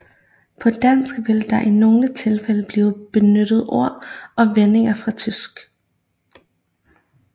På dansk vil der i nogle tilfælde blive benyttet ord og vendinger fra tysk